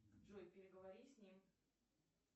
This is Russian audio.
джой переговори с ним